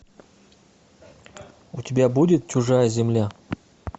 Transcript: у тебя будет чужая земля